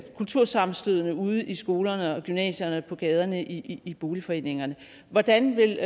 kultursammenstødene ude i skolerne og på gymnasierne og på gaderne i i boligforeningerne hvordan vil